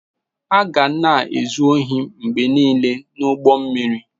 A ga na-ezu ohi mgbe niile n'ime ụgbọ mmiri.